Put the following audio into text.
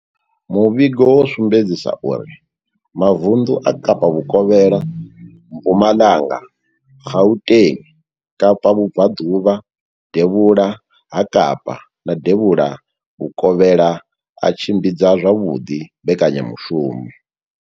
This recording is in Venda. Muvhigo wo sumbedzisa uri mavundu a Kapa Vhukovhela, Mpumalanga, Gauteng, Kapa Vhubva ḓuvha, Devhula ha Kapa na Devhula Vhukovhela a tshimbidza zwavhuḓi mbekanya mushumo.